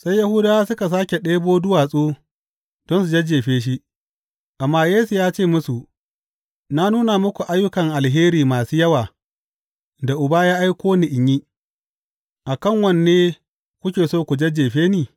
Sai Yahudawa suka sāke ɗebo duwatsu don su jajjefe shi, amma Yesu ya ce musu, Na nuna muku ayyukan alheri masu yawa da Uba ya aiko ni in yi, a kan wanne kuke so ku jajjefe ni?